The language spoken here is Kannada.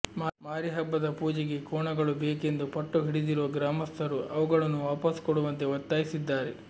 ಮಾರಿಹಬ್ಬದ ಪೂಜೆಗೆ ಕೋಣಗಳು ಬೇಕೆಂದು ಪಟ್ಟು ಹಿಡಿದಿರುವ ಗ್ರಾಮಸ್ಥರು ಅವುಗಳನ್ನು ವಾಪಸ್ ಕೊಡುವಂತೆ ಒತ್ತಾಯಿಸಿದ್ದಾರೆ